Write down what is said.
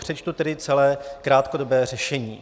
Přečtu tedy celé krátkodobé řešení.